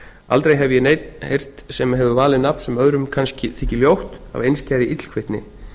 aldrei hef ég neinn heyrt sem hefur valið nafn sem öðrum kannski þykir ljótt af einskærri illkvittni